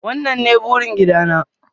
wannan ne burin gida na.